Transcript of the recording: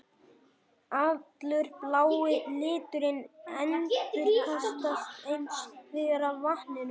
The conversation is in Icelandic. Allur blái liturinn endurkastast hins vegar af vatninu.